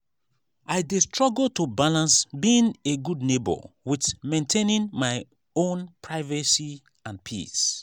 i dey struggle to balance being a good neighbor with maintaining my own privacy and peace.